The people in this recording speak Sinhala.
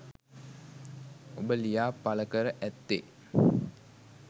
ඔබ ලියා පල කර ඇත්තේ